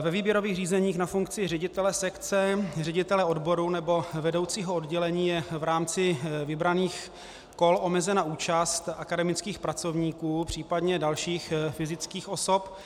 Ve výběrových řízeních na funkci ředitele sekce, ředitele odboru nebo vedoucího oddělení je v rámci vybraných kol omezena účast akademických pracovníků, případně dalších fyzických osob,